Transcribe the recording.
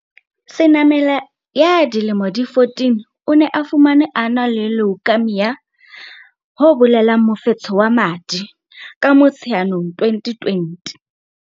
Senamela ya dilemo di 14, o ne a fumanwe a na le leukaemia, mofetshe wa madi, ka Motsheanong 2020.